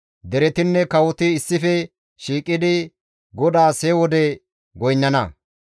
Deretinne kawoti issife shiiqidi GODAAS he wode goynnana.